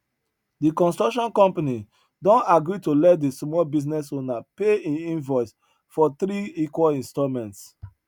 de construction company don agree to let de small business owner pay im invoice for three equal installments